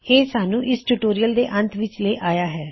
ਇਹ ਸਾਨੂੰ ਇਸ ਟਿਊਟੋਰਿਯਲ ਦੇ ਅੰਤ ਵਿੱਚ ਲੈ ਆਇਆ ਹੈ